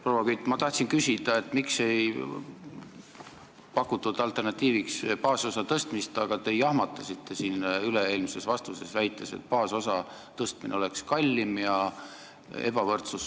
Proua Kütt, ma tahtsin küsida, miks ei pakutud alternatiiviks baasosa suurendamist, aga te jahmatasite mind, väites, et baasosa suurendamine oleks kallim ja süvendaks ebavõrdsust.